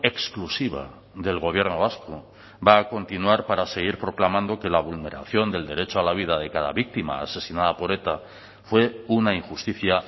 exclusiva del gobierno vasco va a continuar para seguir proclamando que la vulneración del derecho a la vida de cada víctima asesinada por eta fue una injusticia